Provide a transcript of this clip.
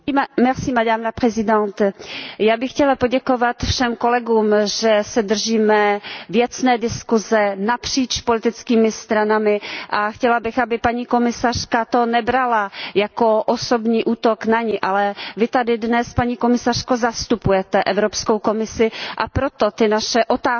Paní předsedající, já bych chtěla poděkovat všem kolegům, že se držíme věcné diskuse napříč politickými stranami, a chtěla bych, aby paní komisařka to nebrala jako osobní útok na ni, ale Vy tady dnes, paní komisařko, zastupujete Evropskou komisi, a proto ty naše otázky